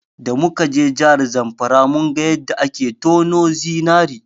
Da muka je jihar Zamfara, mun ga yadda ake tono zinari.